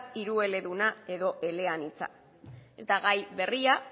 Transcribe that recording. hirueleduna edo eleanitza ez da gai berria